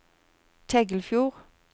Tengelfjord